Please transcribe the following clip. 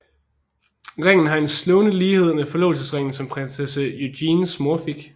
Ringen har en slående lighed med forlovelsesringen som prinsesse Eugenies mor fik